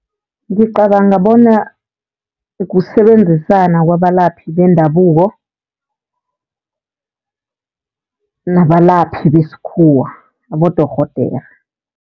Ngicabanga bona kusebenzisana kwabalaphi bendabuko nabalaphi besikhuwa, abodorhodere.